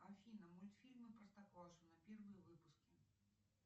афина мультфильмы простоквашино первые выпуски